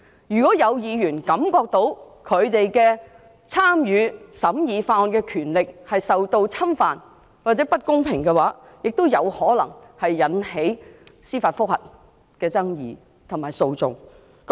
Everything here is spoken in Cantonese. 如果有議員感到自己參與審議法案的權力受到侵犯或獲不公平對待，亦有可能引起爭議及司法覆核訴訟。